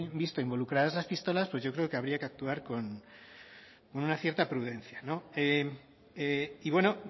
visto involucradas las pistolas pues yo creo que habría que actuar con una cierta prudencia y bueno